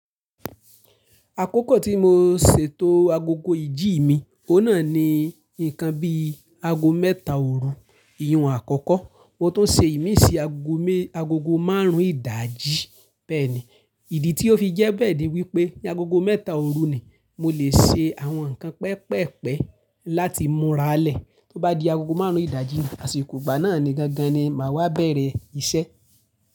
Àkókò tí mo ṣètò agogo ìjí mi, ò ná ni nǹkan bi ago mẹ́ta òru, ìrun àkọ́kọ́. Mo tún ṣe ìmí sí agogo máàrún ìdajì bẹ́ẹ̀ni. Ìdí tí ó fi jẹ́ bẹ́ẹ̀ ni wípé ní agogo mẹ́ta òru ni mo lè ṣe àwọn nǹkan pẹpẹ́pẹ láti múra lẹ̀. Tó bá di agogo máàrún ìdajì àṣiko igba náà ni gangan ni màá wá beẹ̀rẹ̀ ìṣe.